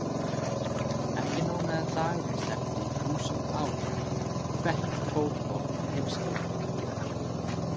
Ekki nóg með að dagurinn stefndi í þúsund ár, hvert fótmál var heimsálfa.